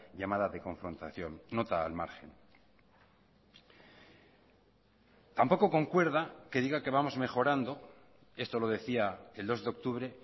llamada de confrontación nota al margen tampoco concuerda que diga que vamos mejorando esto lo decía el dos de octubre